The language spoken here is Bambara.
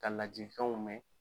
Ka lajikanw mɛ